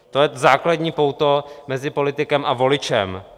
To je základní pouto mezi politikem a voličem.